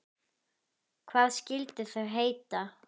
Hvað skyldu þau heita?